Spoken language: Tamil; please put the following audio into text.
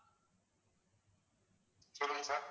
சொல்லுங்க sir